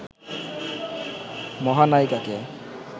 মহানায়িকাকে